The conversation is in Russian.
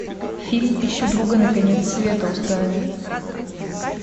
фильм ищу друга на конец света установи